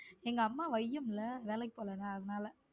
எங்க அம்மா வையும்ல வேலைக்கு போலேனா அதனால.